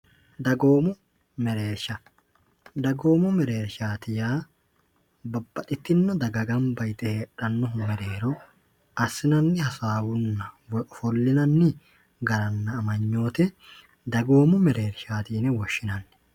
dagoomu mereersha dagoomo mereershaati ya babbaxitinno dagagambayixe heedhannohu mereero assinanni hasaawunna wyofollinanni garanna amanyoote dagoomu mereershaatiine woshshinanni